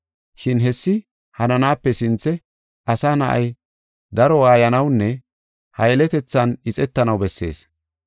Shin hessi hananaape sinthe Asa Na7ay daro waayanawunne ha yeletethan ixetanaw bessees.